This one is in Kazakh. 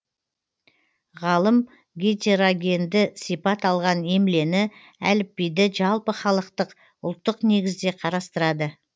ғалым гетерогенді сипат алған емлені әліпбиді жалпыхалықтық ұлттық негізде қарастырады